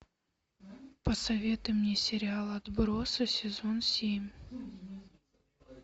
посоветуй мне сериал отбросы сезон семь